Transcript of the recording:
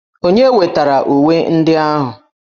Onye wetara uwe ndị ahụ?